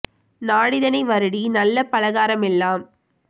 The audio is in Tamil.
நாடிதனை வருடி நல்ல பலகாரமெலாம்